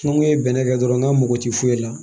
N ko ye bɛnɛ kɛ dɔrɔn n ka mɔgɔ ti foyi la